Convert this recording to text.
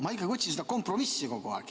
Ma ikkagi otsin seda kompromissi kogu aeg.